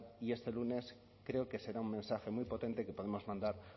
y este el lunes creo que será un mensaje muy potente que podemos mandar